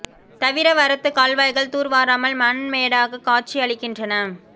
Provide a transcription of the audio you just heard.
தவிர வரத்து கால்வாய்கள் தூர்வாராமல் மண் மேடாக காட்சி அளிக்கின்றன